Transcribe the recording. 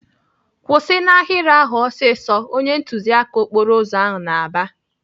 "Kwụsị n'ahịrị ahụ ọsịsọ!" Onye ntụziaka okporo ụzọ na-aba.